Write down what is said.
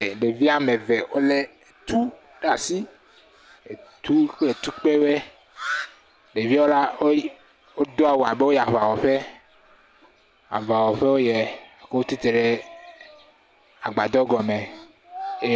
Ɖevi woame ve wolé tu ɖe asi. Tu kple tukpewoɛ. Ɖeviawo la, wodo awu abe woyiɛ aŋawɔƒe. Aŋawɔƒe woyiɛ. Wotsi tre ɖe agbadɔ gɔme eye.